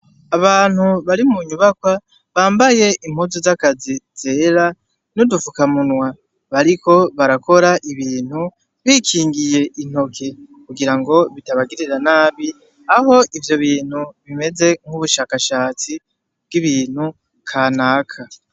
Abantu bari munyubakwa bambaye impuzu z'akazi zera n'udufukamunwa, bariko barakora ibintu bikingiye intoke kugirango bitabagirira nabi, aho ivyo bintu bimeze nk'ubushakashatsi bw'ibintu kanaka.